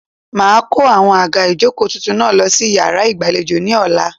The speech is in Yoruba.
Màá a kó àwọn àga ìjókòó tuntun náà lo sí iyàrá ìgbàlejò ní ọ̀la